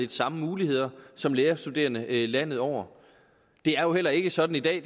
de samme muligheder som lærerstuderende landet over det er jo heller ikke sådan i dag